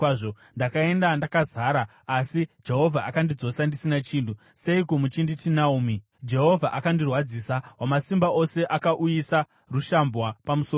Ndakaenda ndakazara, asi Jehovha akandidzosa ndisina chinhu. Seiko muchinditi Naomi? Jehovha akandirwadzisa; Wamasimba Ose akauyisa rushambwa pamusoro pangu.”